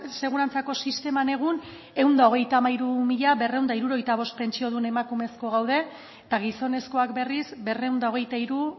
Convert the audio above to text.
segurantzako sisteman egun ehun eta hogeita hamairu mila berrehun eta hirurogeita bost pentsiodun emakumezko gaude eta gizonezkoak berriz berrehun eta hogeita hiru